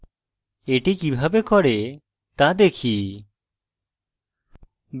এটি কিভাবে করে তা দেখি